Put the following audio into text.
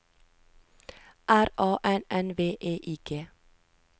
R A N N V E I G